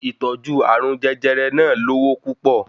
Ìtọ́jú arùn jẹjẹrẹ náà lowo púpọ̀